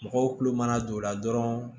Mɔgɔw kulo mana don o la dɔrɔn